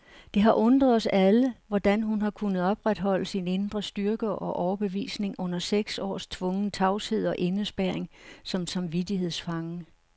Det har undret os alle, hvordan hun har kunnet opretholde sin indre styrke og overbevisning under seks års tvungen tavshed og indespærring som samvittighedsfange.